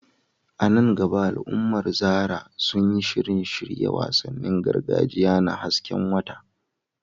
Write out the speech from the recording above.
A nan gaba al’ummar Zarah sun yi shirin shirya wasannin gargajiya na hasken wata.